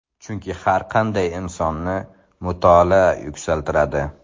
Chunki har qanday insonni mutolaa yuksaltiradi.